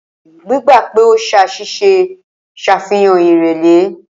Gbígbà pè o ṣàṣìṣe ń ṣàfihàn ìrẹ̀lẹ̀.